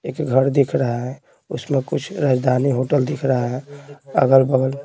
एक घर दिख रहा है राजधानी होटल दिख रहा है अगल-बगल--